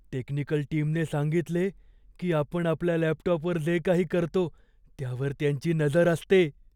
Technical टीमने सांगितले की आपण आपल्या लॅपटॉपवर जे काही करतो, त्यावर त्यांची नजर असते.